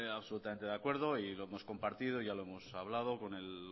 absolutamente de acuerdo y lo hemos compartido ya lo hemos hablado con el